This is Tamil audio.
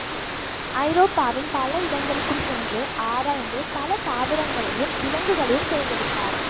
ஐரோப்பாவின் பல இடங்களுக்கும் சென்று ஆராய்ந்து பல தாவரங்களையும் விலங்குகளையும் சேகரித்தார்